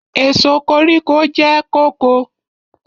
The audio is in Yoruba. Èso koríko jẹ́ kóko.